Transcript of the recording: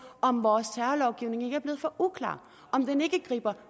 om vores terrorlovgivning er blevet for uklar om den griber